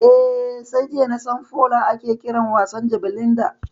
Eh, sai jiya nasan Foona ake kiran wasan jabelin da